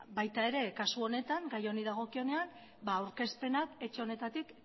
baita kasu honetan ere gai honi dagokionean aurkezpenak etxe honetatik